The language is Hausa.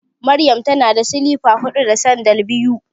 Maryam tana da silifa huɗu da sandal biyu.